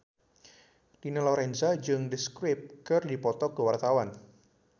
Dina Lorenza jeung The Script keur dipoto ku wartawan